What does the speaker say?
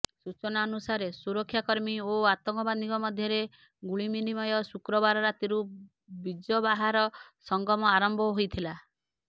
ସୂଚନା ଅନୁସାରେ ସୁରକ୍ଷାକର୍ମୀ ଓ ଆତଙ୍କବାଦୀଙ୍କ ମଧ୍ୟରେ ଗୁଳିବିନିମୟ ଶୁକ୍ରବାର ରାତିରୁ ବିଜବାହାର ସଙ୍ଗମ ଆରମ୍ଭ ହୋଇଥିଲା